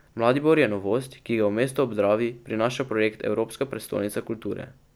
Mladibor je novost, ki ga v mesto ob Dravi prinaša projekt Evropska prestolnica kulture.